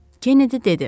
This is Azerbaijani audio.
Kenedi dedi.